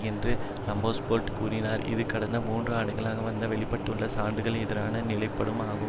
என்று ரம்ஸ்பெல்ட் கூறினார் இது கடந்த மூன்று ஆண்டுகளாக வந்து வெளிப்பட்டுள்ள சான்றுகளுக்கு எதிரான நிலைப்பாடு ஆகும்